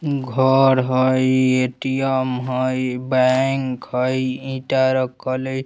घर हई ए.टी.एम. हई बैंक हई ईटा रखोले --